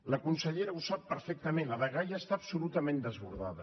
la consellera ho sap perfectament la dgaia està absolutament desbordada